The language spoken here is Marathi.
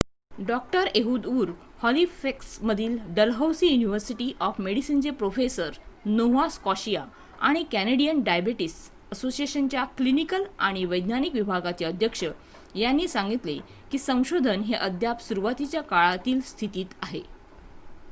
डॉ एहूद उर हॉलिफॅक्समधील डलहौसी युनिव्हर्सिटी ऑफ मेडिसिनचे प्रोफेसर नोव्हा स्कॉशिया आणि कॅनेडियन डायबेटिस असोसिएशनच्या क्लिनिकल आणि वैज्ञानिक विभागाचे अध्यक्ष यांनी सांगितले की संशोधन हे अद्याप सुरुवातीच्या काळातील स्थितीत आहे